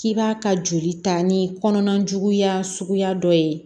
K'i b'a ka joli ta ni kɔnɔna juguya suguya dɔ ye